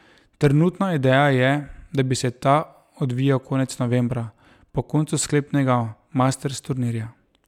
Trenutna ideja je, da bi se ta odvijal konec novembra, po koncu sklepnega masters turnirja.